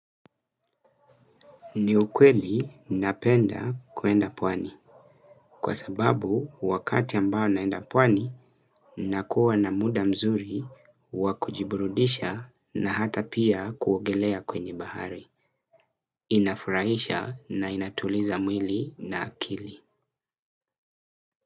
Ni ukweli napenda kuenda pwani kwa sababu wakati ambao naenda pwani nakuwa na muda mzuri wa kujiburudisha na hata pia kuogelea kwenye bahari inafurahisha na inatuliza mwili na akili.